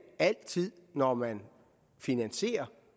altid når man finansierer